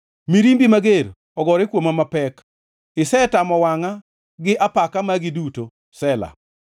Mirimbi mager ogore kuoma mapek; isetamo wangʼa gi apaka magi duto. Sela